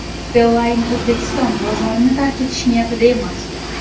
Beeline O‘zbekiston bozorini tark etish niyatida emas.